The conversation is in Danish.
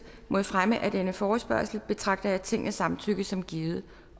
mod fremme af denne forespørgsel betragter jeg tingets samtykke som givet